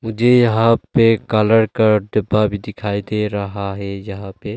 मुझे यहां पे कलर का डिब्बा भी दिखाई दे रहा है यहां पे--